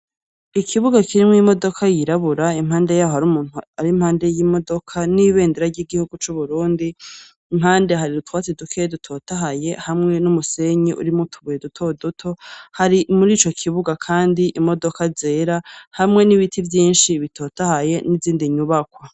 Ikibuga kirimwo imodoka yirabura impande yaho hari umuntu ari impande yimodoka n'ibendera yigihugu c'Uburundi impande hari utwatsi duke dutotahaye hamwe numusenyi urimwo utubuye duto duto, hari murico kibuga kandi imodoka zera hamwe n'ibiti vyinshi bitotahaye n'izindi nyubakwa.